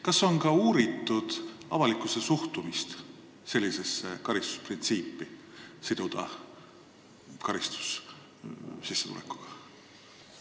Kas on uuritud ka avalikkuse suhtumist sellisesse karistusprintsiipi, et siduda karistus sissetulekuga?